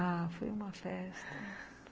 Ah, foi uma festa...